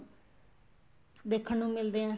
ਦੇਖਣ ਨੂੰ ਮਿਲਦੇ ਏ